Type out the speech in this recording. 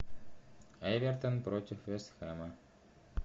эвертон против вест хэма